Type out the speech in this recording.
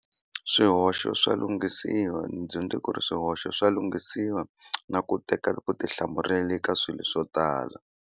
Swihoxo swa lunghisiwa ndzi dyondze ku ri swihoxo swa lunghisiwa na ku teka ku eka swilo swo tala.